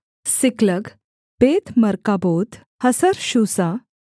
सिकलग बेत्मर्काबोत हसर्शूसा